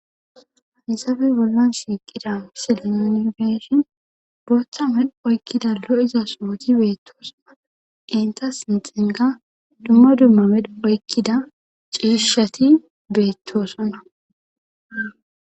Hisafe bollon shiiqida misilenoonbeshin bootha medh oykkida lo"iza sooji beettoosana qinta sinxinga dumma dumma medh oykkida ciishshati beettoosana